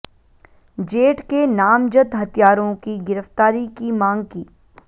जेठ के नामजद हत्यारों की गिरफ्तारी की मांग की